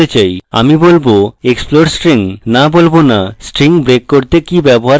আমি বলবো explode string no বলব nostring break করতে কি ব্যবহার করা হয় তা উল্লেখ করব